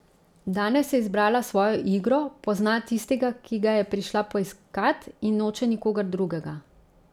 Danes je izbrala svojo igro, pozna tistega, ki ga je prišla poiskat, in noče nikogar drugega.